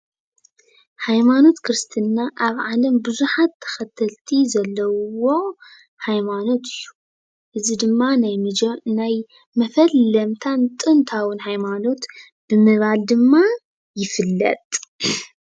ሃይማኖት ክርስትና ኣብ ዓለም ብዙሓት ተኸተልቲ ዘለውዎ ሃይማኖት እዩ። እዚ ድማ ናይ መጀ ናይ መፈለምታን ጥንታውን ሃይማኖት ብምባል ድማ ይፍለጥ።